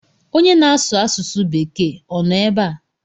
Onye na-asu asụsu bekee o no ebe a?